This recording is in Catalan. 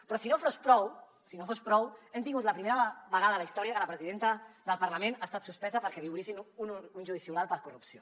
però si no fos prou si no fos prou hem tingut la primera vegada a la història que la presidenta del parlament ha estat suspesa perquè li obrissin un judici oral per corrupció